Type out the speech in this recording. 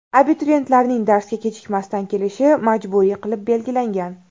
Abituriyentlarning darsga kechikmasdan kelishi majburiy qilib belgilangan.